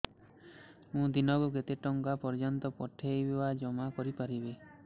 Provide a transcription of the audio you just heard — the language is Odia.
ମୁ ଦିନକୁ କେତେ ଟଙ୍କା ପର୍ଯ୍ୟନ୍ତ ପଠେଇ ବା ଜମା କରି ପାରିବି